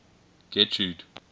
getrude